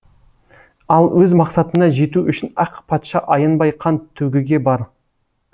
ал өз мақсатына жету үшін ақ патша аянбай қан төгуге бар